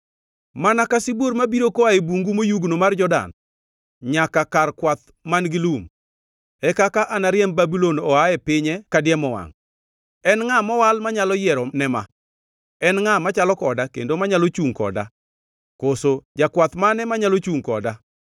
Mana ka sibuor mabiro koa e bungu moyugno mar Jordan, nyaka kar kwath man-gi lum, e kaka anariemb Babulon oa e pinye kadiemo wangʼ. En ngʼa mowal manyalo yiero ne ma? En ngʼa machalo koda kendo manyalo chungʼ koda? Koso jakwath mane manyalo chungʼ koda?”